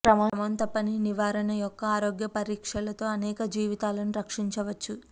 క్రమం తప్పని నివారణ యొక్క ఆరోగ్య పరీక్షలతో అనేక జీవితాలను రక్షించవచ్చు